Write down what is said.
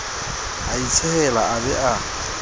a itshehela a ba a